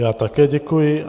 Já také děkuji.